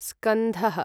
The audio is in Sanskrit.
स्कन्धः